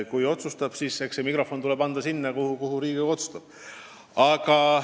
Aga ma arvan siiralt, et see mikrofon tuleb anda sinna, kuhu Riigikogu otsustab selle anda.